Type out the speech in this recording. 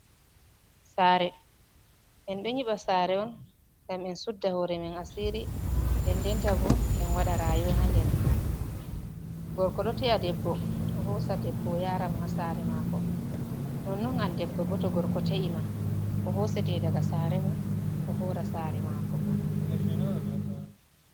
Sare, En ɗo nyiɓa sare on ngam en sudda hore men asiri. Nden denta bo en waɗa rayowa nder mare. Gorko ɗo te’a debbo o hosa debbo o yara mo ha sare mako. Non non an debbo bo to gorko te’i ma o hosete daga sare mon o hora sare mako.